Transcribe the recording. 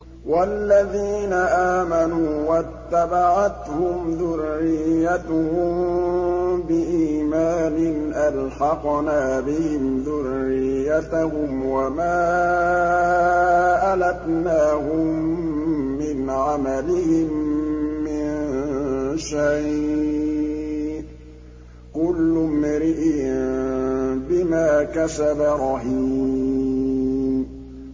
وَالَّذِينَ آمَنُوا وَاتَّبَعَتْهُمْ ذُرِّيَّتُهُم بِإِيمَانٍ أَلْحَقْنَا بِهِمْ ذُرِّيَّتَهُمْ وَمَا أَلَتْنَاهُم مِّنْ عَمَلِهِم مِّن شَيْءٍ ۚ كُلُّ امْرِئٍ بِمَا كَسَبَ رَهِينٌ